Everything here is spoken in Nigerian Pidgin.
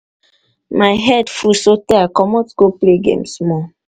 my head full so tey i comot go play game small.